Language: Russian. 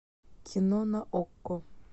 кино на окко